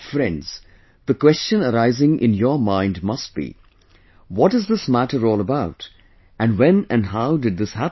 Friends, the question arising in your mind must be...what is this matter all about and when and how did this happen